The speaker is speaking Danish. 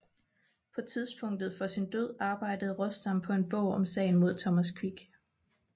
På tidspunktet for sin død arbejdede Råstam på en bog om sagen mod Thomas Quick